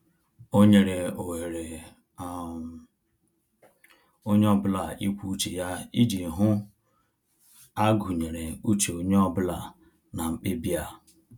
O nyere ohere um onye ọbụla ikwu uche ya iji hụ a gụnyere uche onye ọ bụla na mkpebi a